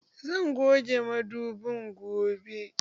Zan goge madobin gobe